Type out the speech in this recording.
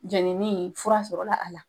Jɛnini fura sɔrɔla ala